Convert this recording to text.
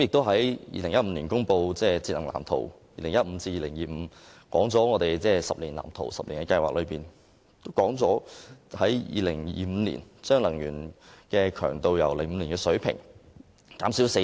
2015年公布的《香港都市節能藍圖 2015~2025+》，訂立了10年計劃，目標在2025年將能源強度由2005年的水平減少四成。